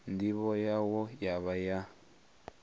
ndivho yawo ya vha ya